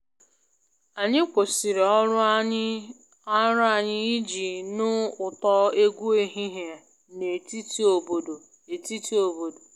Anyị kwụsịrị ọrụ anyị iji nụ ụtọ egwu ehihie na etiti obodo etiti obodo